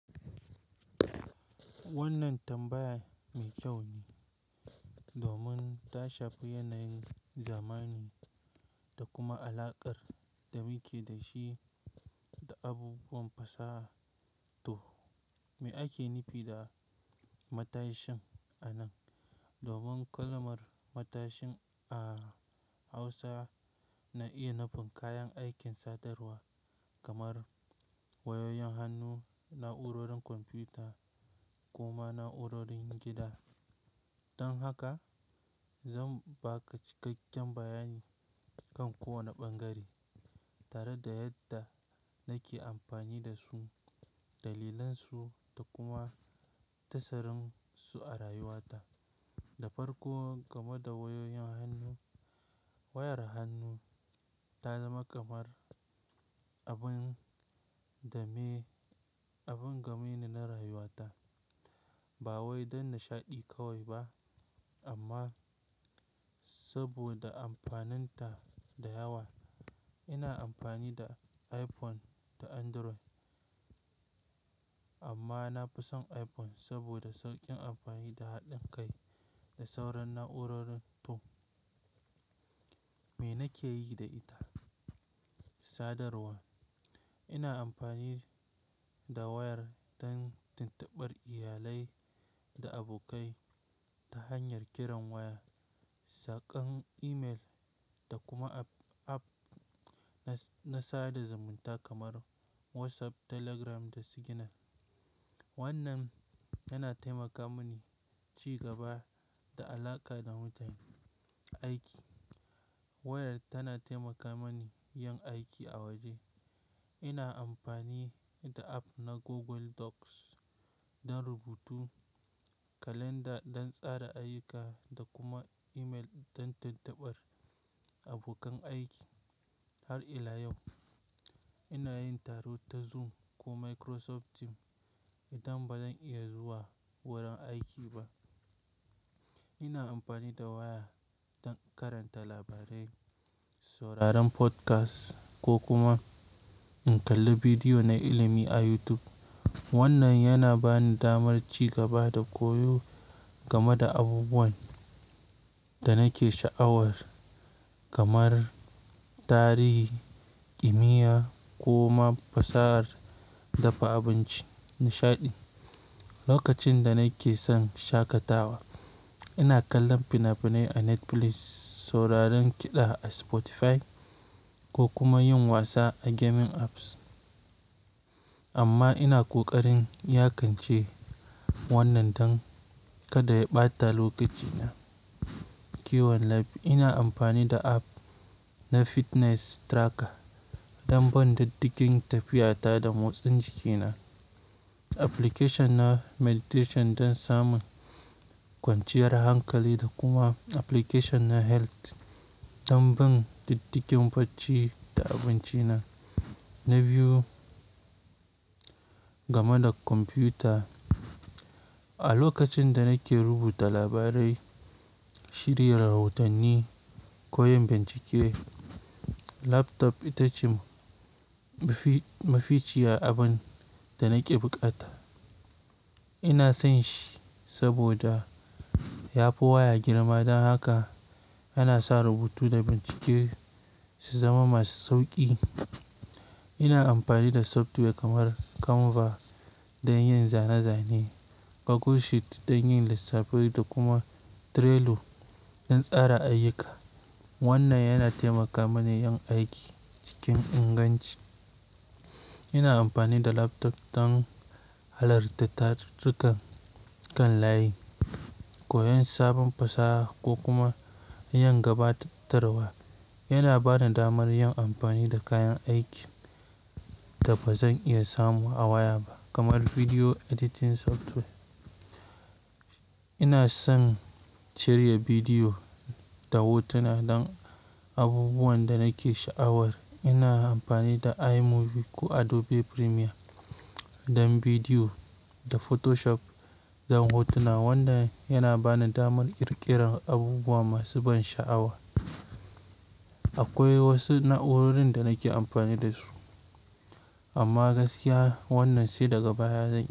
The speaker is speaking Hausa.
Wannan tambaya mai kyau ne. Domin ta shafi yanayin zamani da kuma alaƙar da muke da shi da abubuwan fasaha. To me ake nufi da matashin a nan? Domin kalamar matashin a Hausa na iya nufin kayan aikin sadarwa kamar wayoyin hannu, na'urorin kwamfuta kuma na'urorin gida. Dan haka zan baka cikakken bayani kan kowane bangare, tare da yadda nake amfani da su, dalilansu da kuma tasirin su a rayuwata. Da farko, game da wayoyin hannu. Wayar hannu ta zama kamar abin game ne na rayuwata. Ba wai don nishaɗi kawai ba amma saboda amfaninta da yawa. Ina amfani da iPhone da Android, amma na fi son iPhone saboda sauƙin amfani da haɗin kai da sauran na'urorin. To me nake yi da ita? Sadarwa. Ina amfani da wayar don tattaɓar iyalai da abokai ta hanyar kiran waya, saƙon email da kuma app na sada zumunta kamar WhatsApp, Telegram da Signal. Wannan yana taimaka min ci gaba da alaƙa da mutane. Aiki. Wayar tana taimaka min yin aiki a waje. Ina amfani da app na Google Docs don rubutu, kalanda don tsara ayyuka da kuma email don tattaɓar abokan aiki. Har ila yau ina yin taro ta Zoom ko Microsoft Team idan ba zan iya zuwa wurin aiki ba. Ina amfani da waya don karanta labarai, sauraron podcast ko kuma in kalla bidiyo na ilimi a YouTube. Wannan yana bani damar ci gaba da koyo game da abubuwan da nake sha'awar, kamar tarihi, kimiyya ko ma fasahar dafa abinci. Nishaɗi. Lokacin da nake son shakatawa, ina kallon fina-finai a Netflix, sauraron kiɗa a Spotify ko kuma yin wasa a gaming apps. Amma ina ƙoƙarin yakance wannan don kada ya ɓata lokacina. Kiwon lafiya. Ina amfani da app na fitness tracker don ban ɗidigin tafiyata da motsin jikina, application na meditation don samun kwanciyar hankali da kuma application na health don ban binciki barci da abinci na. Na biyu, game da kwamfuta. A lokacin da nake rubuta labarai, shirya rahotanni ko yin bincike, laptop ita ce maficiya abin da nake buƙata. Ina son shi saboda ya fi waya girma don haka yana sa rubutu da bincike su zama masu sauƙi. Ina amfani da software kamar Canva don yin zane-zane, Google Sheet don yin lissafi da kuma Trello don tsara ayyuka. Wannan yana taimaka mini yin aiki cikin inganci. Ina amfani da laptop don halartar darasa kan layi, koyon sabon fasaha ko kuma yin gabatarwa. Yana bani damar yin amfani da kayan aikin da ba zan iya samu a waya ba kamar video editing software. Ina son cire bidiyo da hotuna don abubuwan da nake sha'awar. Ina amfani da iMovie ko Adobe Premiere don bidiyo da Photoshop don hotuna, wanda yana bani damar ƙirƙirar abubuwa masu ban sha'awa. Akwai wasu na'urorin da nake amfani da su amma gaskiya wannan sai daga baya zan yi.